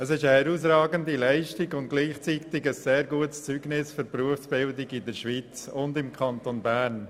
Es ist eine herausragende Leistung und gleichzeitig ein sehr gutes Zeugnis für die Berufsbildung in der Schweiz und im Kanton Bern.